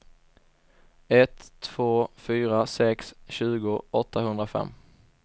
ett två fyra sex tjugo åttahundrafem